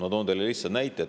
Ma toon teile lihtsa näite.